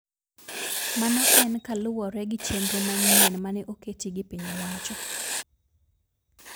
Mano en kaluwore gi chenro manyien mane oketi gi piny owacho